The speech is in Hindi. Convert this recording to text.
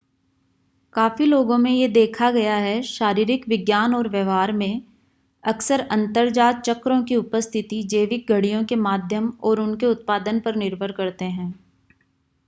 काफी लोगो में यह देखा गया है शारीरिक विज्ञान और व्यवहार में अक्सर अंतर्जात चक्रों की उपस्थिति जैविक घड़ियों के माध्यम और उनके उत्पादन पर निर्भर करते हैं